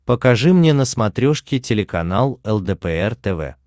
покажи мне на смотрешке телеканал лдпр тв